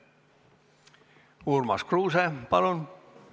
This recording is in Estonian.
Urmas Kruuse, palun!